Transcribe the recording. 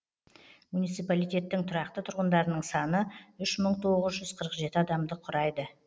муниципалитеттің тұрақты тұрғындарының саны үш мың тоғыз жүз қырық жеті адамды құрайды